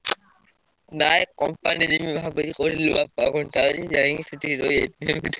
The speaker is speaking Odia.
ନାଇଁ company ଯିବି ଭାବୁଚି କୋଉଠି ଯାଇକି ସେଠି ରହିଯାଇଥିଲେ ।